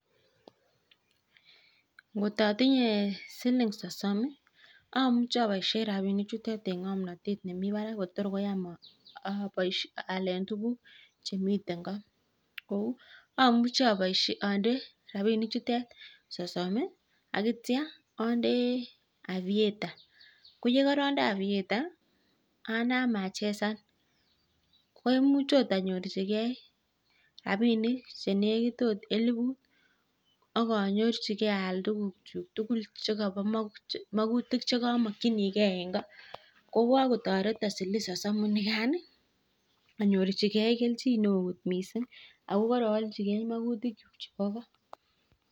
Ngotatinyee siling sosom amuchii abaishek rabinik chutok eng aliet nemii barak missing akoi koyam tuguk amuchii andee (aviator) atya anam achezan komuche akot anyorjike akoi elibut akalchikei makutik chuk